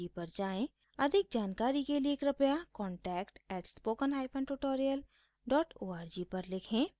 अधिक जानकारी के लिए कृपया contact @spokentutorial org पर लिखें